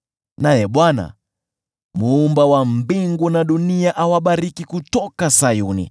Naye Bwana , Muumba wa mbingu na dunia, awabariki kutoka Sayuni.